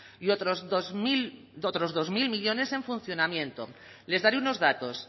y otros dos mil millónes en funcionamiento les daré unos datos